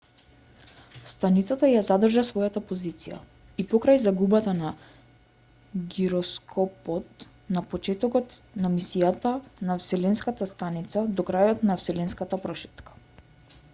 станицата ја задржа својата позиција и покрај загубата на гироскопот на почетокот на мисијата на вселенската станица до крајот на вселенската прошетка